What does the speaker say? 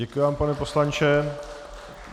Děkuji vám, pane poslanče.